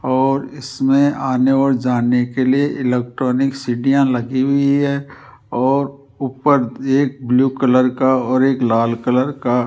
और इसमें आने और जाने के लिए इलेक्ट्रॉनिक सिदियाँ लगी हुई है और ऊपर एक ब्लू कलर का और एक लाल कलर का --